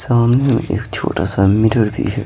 सामने एक छोटा सा मिरर भी है।